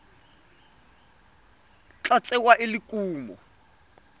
tla tsewa e le kumo